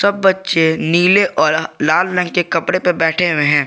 सब बच्चे नीले और लाल रंग के कपड़े पे बैठे हुए हैं।